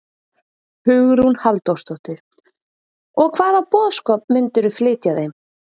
Hugrún Halldórsdóttir: Og hvaða boðskap myndirðu flytja þeim?